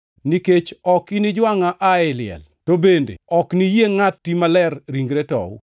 nikech ok inijwangʼa ei liel, to bende ok niyie Ngʼati Maler ringre tow.